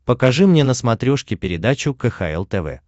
покажи мне на смотрешке передачу кхл тв